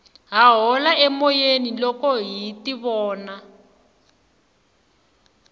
ha hola emoyeni loko hi tivona